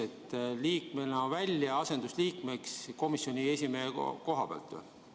Kas nii, et liikmena välja, asendusliikmeks komisjoni esimehe koha pealt?